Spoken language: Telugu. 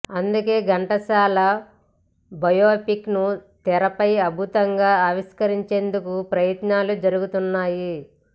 అందుకే ఘంటసాల బయోపిక్ ను తెరపై అద్భుతంగా ఆవిష్కరించేందుకు ప్రయత్నాలు జరుగుతున్నాయి